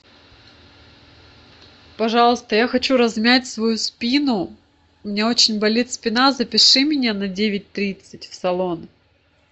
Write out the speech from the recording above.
пожалуйста я хочу размять свою спину у меня очень болит спина запиши меня на девять тридцать в салон